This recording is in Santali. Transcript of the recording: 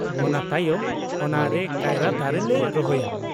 ᱚᱱᱟ ᱛᱟᱭᱚᱢ ᱚᱱᱟ ᱨᱮ ᱠᱟᱭᱨᱟ ᱫᱟᱨᱮ ᱞᱮ ᱨᱚᱦᱚᱭᱟ ᱾